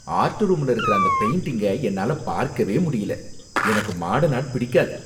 Art ரூம்ல இருக்கற அந்த பெயிண்டிங்க என்னால பார்க்கவே முடியல, எனக்கு மார்டர்ன் ஆர்ட் பிடிக்காது.